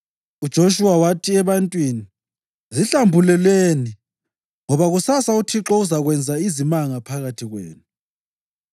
UJoshuwa wathi ebantwini, “Zihlambululeni ngoba kusasa uThixo uzakwenza izimanga phakathi kwenu.”